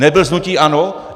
Nebyl z hnutí ANO?